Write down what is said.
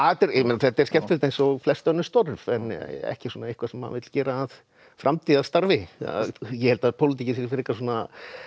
þetta er skemmtilegt eins og flest önnur störf en ekki eitthvað sem maður vill gera að framtíðarstarfi ég held að pólitík sé frekar svona